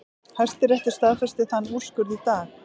Hæstiréttur staðfesti þann úrskurð í dag